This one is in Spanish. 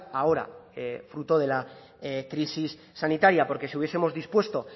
ahora fruto de la crisis sanitaria porque si hubiesemos dispuesto